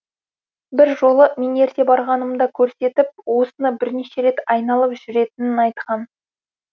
бір жолы мен ерте барғанымда көрсетіп осыны бірнеше рет айналып жүретінін айтқан